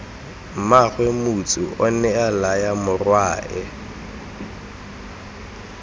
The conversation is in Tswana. mmaagwe motsu onea laya morwae